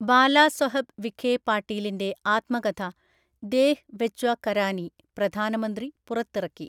ബാലാസാെഹബ് വിഖേ പാട്ടീലിന്റെ ആത്മകഥ ദേഹ് വെച്വ കരാനി പ്രധാനമന്ത്രി പുറത്തിറക്കി